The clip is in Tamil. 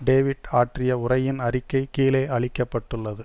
டேவிட் ஆற்றிய உரையின் அறிக்கை கீழே அளிக்க பட்டுள்ளது